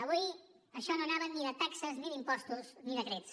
avui això no anava ni de taxes ni d’impostos ni decrets